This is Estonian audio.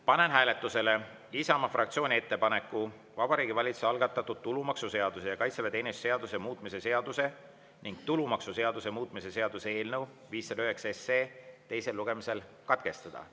Panen hääletusele Isamaa fraktsiooni ettepaneku Vabariigi Valitsuse algatatud tulumaksuseaduse ja kaitseväeteenistuse seaduse muutmise seaduse ning tulumaksuseaduse muutmise seaduse eelnõu 509 teine lugemine katkestada.